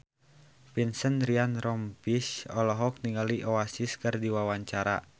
Vincent Ryan Rompies olohok ningali Oasis keur diwawancara